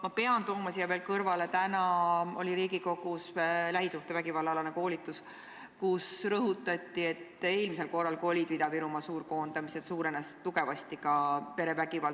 Ma pean ütlema siia kõrvale, et täna oli Riigikogus koolitus lähisuhtevägivalla teemal, kus rõhutati, et eelmisel korral, kui Ida-Virumaal olid suurkoondamised, suurenes tugevasti ka perevägivald.